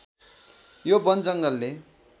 यो वन जङ्गलले